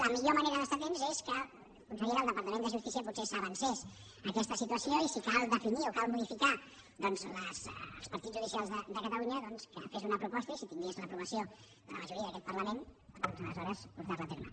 i la millor manera d’estar hi atents és que la consellera del departament de justícia potser s’avancés a aquesta situació i si cal definir o cal modificar els partits judicials de catalunya que fes una proposta i si tingués l’aprovació de la majoria d’aquest parlament aleshores portar la a terme